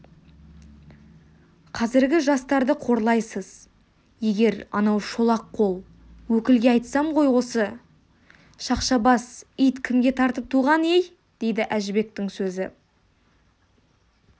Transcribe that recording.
қазіргі жастарды қорлайсыз егер анау шолақ қол өкілге айтсам ғой осы шақша бас ит кімге тартып туған-ей деді әжібектің сөзі